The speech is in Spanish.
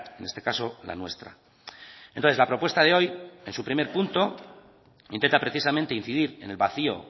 en este caso la nuestra entonces la propuesta de hoy en su primer punto intenta precisamente incidir en el vacío